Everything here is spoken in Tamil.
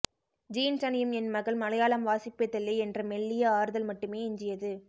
ஜீன்ஸ் அணியும் என் மகள் மலையாளம் வாசிப்பதில்லை என்ற மெல்லிய ஆறுதல் மட்டுமே எஞ்சியது